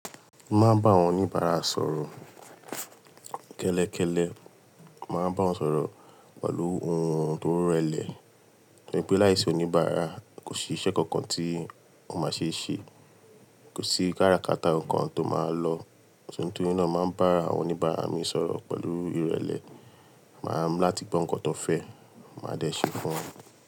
Máa n bá àwọn oníbàárà sọ̀rọ̀ kẹ́lẹ́kẹ́lẹ́, màá bá wọn sọ̀rọ̀ pẹ̀lú ohùn tó rẹlẹ̀. Nítorí pé láìsí oníbàárà kò sí iṣẹ́ kankan tí o má ṣe ṣe, kò sí kárakaata kankan tó máa lọ. So nítorí náà, mo màá ń bá àwọn oníbàárà mi sọ̀rọ̀ pẹ̀lú ìrẹlẹ. Màá láti gbọ́ nǹkan tó fẹ́, màá dẹ́ṣẹ̀ fún wọn.